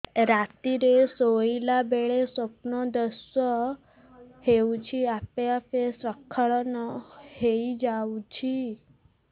ରାତିରେ ଶୋଇଲା ବେଳେ ସ୍ବପ୍ନ ଦୋଷ ହେଉଛି ଆପେ ଆପେ ସ୍ଖଳନ ହେଇଯାଉଛି